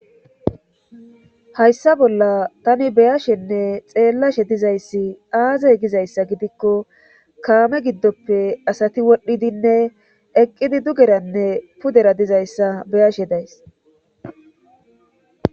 hayssa bolla tani beyashenne xeellashe dizayssi aaze gizayssa gidikko kaame giddoppe asati wodhidinne eqqidi dugeranne pudera dizayssa beyashe days